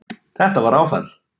Þetta var áfall